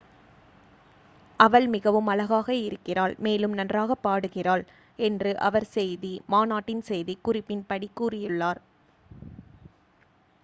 """அவள் மிகவும் அழகாக இருக்கிறாள் மேலும் நன்றாகப் பாடுகிறாள்," என்று அவர் செய்தி மாநாட்டின் செய்தி குறிப்பின் படி கூறியுள்ளார்.